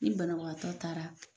Ni banabagatɔ taara